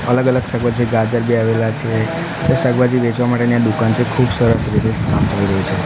અલગ અલગ શાકભાજી ગાજર બી આવેલા છે ત્યાં શાકભાજી વેચવા માટે ન્યાં દુકાન છે ખુબ સરસ રીતે કામ ચાલી રહ્યું છે.